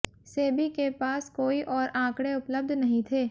सेबी के पास कोई और आंकड़े उपलब्ध नहीं थे